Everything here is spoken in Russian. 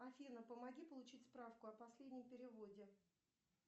афина помоги получить справку о последнем переводе